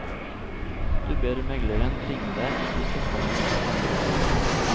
Du ber megleren ringe deg hvis det kommer andre bud.